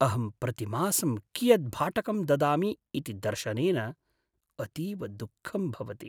अहं प्रतिमासं कियत् भाटकं ददामि इति दर्शनेन अतीव दुःखं भवति।